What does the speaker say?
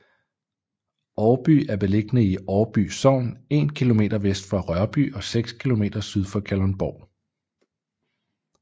Årby er beliggende i Årby Sogn en kilometer vest for Rørby og 6 kilometer syd for Kalundborg